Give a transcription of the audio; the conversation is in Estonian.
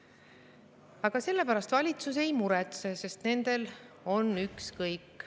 Aga selle pärast valitsus ei muretse, sest nendel on ükskõik.